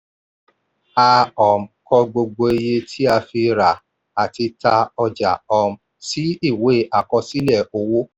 a um kọ gbogbo iye tí a fi ra àti tà ọjà um sí ìwé àkọsílẹ̀ owó.